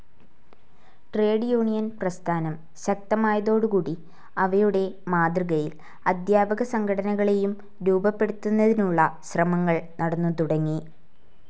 Trade union പ്രസ്ഥാനം ശക്തമായതോടുകൂടി അവയുടെ മാതൃകയിൽ അധ്യാപകസംഘടനകളേയും രൂപപ്പെടുത്തുന്നതിനുള്ള ശ്രമങ്ങൾ നടന്നുതുടങ്ങി.